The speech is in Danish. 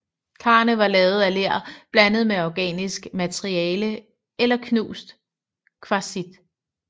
Karene var lavet af ler blandet med organisk materiale eller knust kvartsit